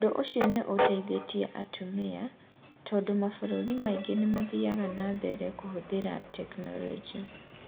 Ũndũ ũcio nĩ ũhutĩtie atumia, tondũ mabũrũri maingĩ nĩ mathiaga na mbere kũhũthĩra tekinolonjĩ.